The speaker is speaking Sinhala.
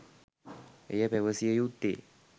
එය පැවසිය යුත්තේ